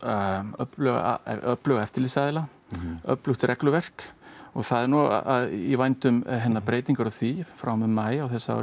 öfluga öfluga eftirlitsaðila öflugt regluverk og það er í vændum breytingar á því frá og með maí